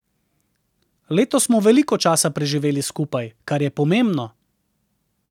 Letos smo veliko časa preživeli skupaj, kar je pomembno.